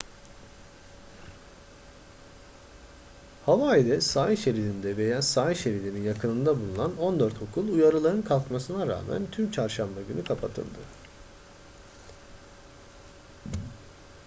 hawaii'de sahil şeridinde veya sahil şeridinin yakınında bulunan on dört okul uyarıların kalkmasına rağmen tüm çarşamba günü kapatıldı